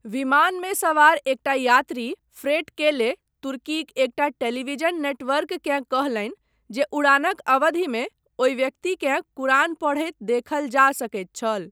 विमानमे सवार एकटा यात्री फ्रैट केले तुर्कीक एकटा टेलीविजन नेटवर्ककेँ कहलनि जे उड़ानक अवधिमे ओहि व्यक्तिकेँ कुरान पढ़ैत देखल जा सकैत छल।